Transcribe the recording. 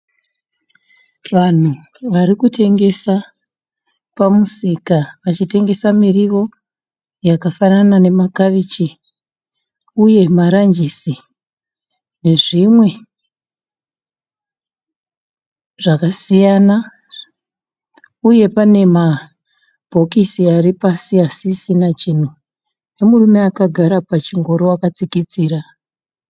Vanhu varikutengesa pamusika vachitengesa murio yakafanana nama kabichi, maranjisi nezvimwe zvakasiyana uye pane murume akagara pachingoro akatsikitsira.